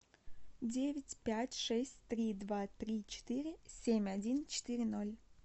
девять пять шесть три два три четыре семь один четыре ноль